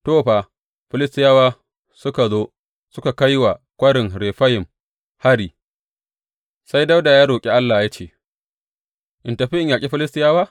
To, fa, Filistiyawa suka zo suka kai wa Kwarin Refayim hari; sai Dawuda ya roƙi Allah ya ce, In tafi in yaƙi Filistiyawa?